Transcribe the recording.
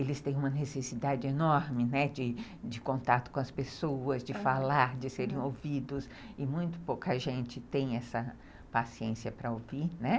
eles têm uma necessidade enorme de de contato com as pessoas, de falar, de serem ouvidos, e muito pouca gente tem essa paciência para ouvir.